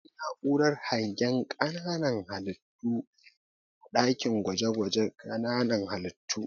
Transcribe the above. Akwai na'urar hangen ƙananan halittu a ɗakin gwaje-gwaje ƙananan halittu.